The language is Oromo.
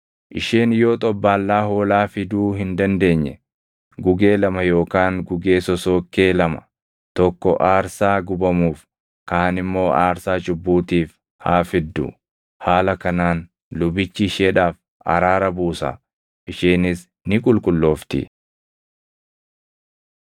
Isheen yoo xobbaallaa hoolaa fiduu hin dandeenye, gugee lama yookaan gugee sosookkee lama, tokko aarsaa gubamuuf kaan immoo aarsaa cubbuutiif haa fiddu. Haala kanaan lubichi isheedhaaf araara buusa; isheenis ni qulqulloofti.’ ”